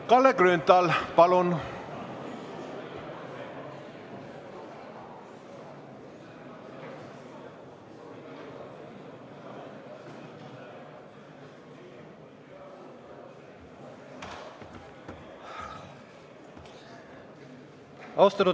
Kalle Grünthal, palun!